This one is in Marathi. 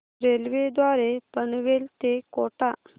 रेल्वे द्वारे पनवेल ते कोटा